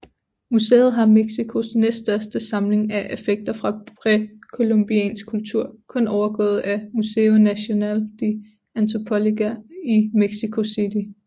Museet har Mexicos næststørste samling af effekter fra præcolumbiansk kultur kun overgået af Museo Nacional de Antropología i Mexico City